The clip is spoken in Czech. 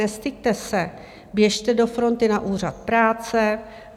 Nestyďte se, běžte do fronty na úřad práce.